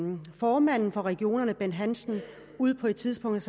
man at formanden for regionerne bent hansen på et tidspunkt